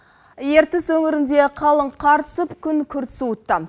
ертіс өңірінде қалың қар түсіп күн күрт суытты